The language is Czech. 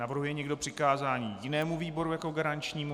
Navrhuje někdo přikázání jinému výboru jako garančnímu?